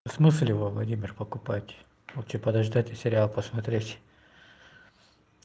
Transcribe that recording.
в смысле во владимир покупать лучше подождать и сериал посмотреть